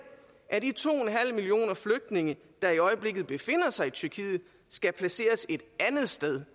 at de to millioner flygtninge der i øjeblikket befinder sig i tyrkiet skal placeres et andet sted